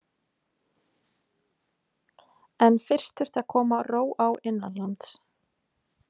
En fyrst þurfti að koma ró á innanlands.